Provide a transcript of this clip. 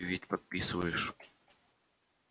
ты ведь подписываешь